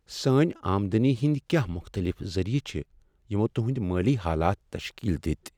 سٲنۍ آمدٔنی ہٕنٛدۍ کیٛاہ مختٔلف ذٔریعہٕ چھ یمو تہنٛدۍ مٲلی حالات تشکیل دِتۍ؟